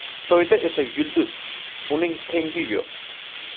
Xitoyda esa yulduz, uning tengi yo‘q.